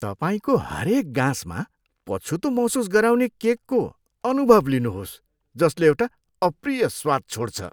तपाईँको हरेक गाँसमा पछुतो महसुस गराउने केकको अनुभव लिनुहोस् जसले एउटा अप्रिय स्वाद छोड्छ।